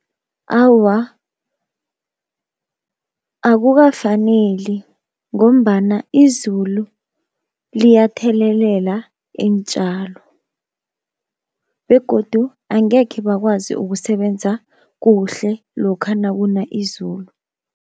Awa akukafaneli, ngombana izulu liyathelelela iintjalo begodu angekhe bakwazi ukusebenza kuhle lokha nakuna izulu.